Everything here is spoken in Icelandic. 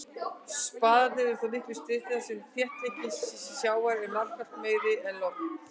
Spaðarnir eru þó miklu styttri þar sem þéttleiki sjávar er margfalt meiri en lofts.